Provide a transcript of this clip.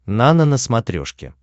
нано на смотрешке